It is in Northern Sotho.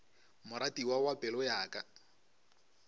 moratiwa wa pelo ya ka